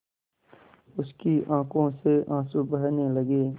उसकी आँखों से आँसू बहने लगे